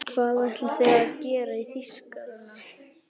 Hvað ætli þið hafið að gera í Þýskarana!